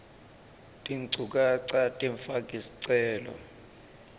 tinchukaca temfaki sicelo